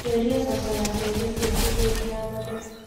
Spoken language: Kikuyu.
Twĩlia thoko ya mbembe ciaku hĩndĩ ya magetha